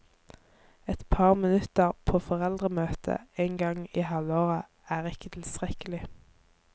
Et par minutter på foreldremøtet en gang i halvåret er ikke tilstrekkelig.